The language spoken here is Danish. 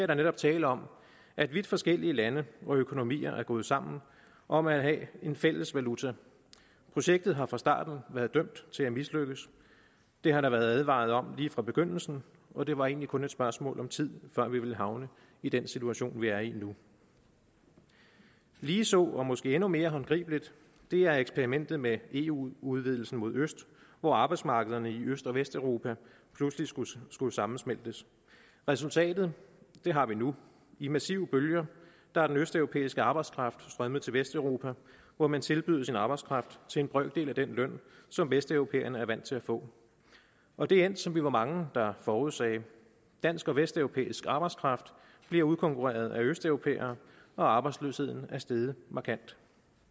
der netop tale om at vidt forskellige lande og økonomier er gået sammen om at have en fælles valuta projektet har fra starten været dømt til at mislykkes det har der været advaret om lige fra begyndelsen og det var egentlig kun et spørgsmål om tid før vi ville havne i den situation vi er i nu lige så og måske endnu mere håndgribeligt er eksperimentet med eu udvidelsen mod øst hvor arbejdsmarkederne i øst og vesteuropa pludselig skulle skulle sammensmeltes resultatet har vi nu i massive bølger er den østeuropæiske arbejdskraft strømmet til vesteuropa hvor man tilbyder sin arbejdskraft til en brøkdel af den løn som vesteuropæerne er vant til at få og det er endt som vi var mange der forudsagde dansk og vesteuropæisk arbejdskraft bliver udkonkurreret af østeuropæere og arbejdsløsheden er steget markant